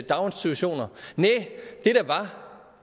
daginstitutioner næ